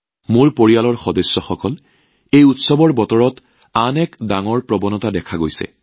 মোৰ পৰিয়ালৰ সদস্যসকল এই উৎসৱৰ বতৰত আৰু এটা ডাঙৰ ট্ৰেণ্ড দেখা গৈছে